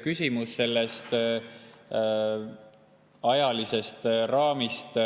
Küsimus sellest ajalisest raamist: